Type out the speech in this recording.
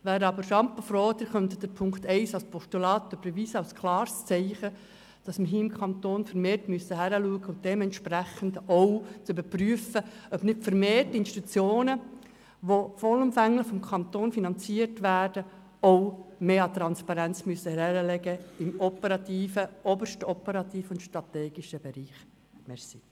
Ich wäre aber sehr froh, wenn Sie Punkt 1 als Postulat überweisen könnten als klares Zeichen dafür, dass wir im Kanton vermehrt hinschauen und entsprechend auch überprüfen müssen, ob die vollumfänglich vom Kanton finanzierten Institutionen auch im obersten operativen und strategischen Bereich mehr Transparenz zeigen